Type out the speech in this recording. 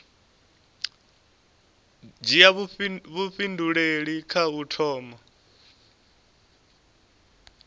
dzhia vhuifhinduleli kha u thoma